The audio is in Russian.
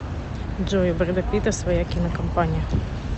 джой у брэда питта своя кинокомпания